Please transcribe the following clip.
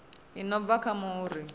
i no bva kha muri